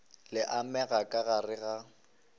le amegago ka gare ga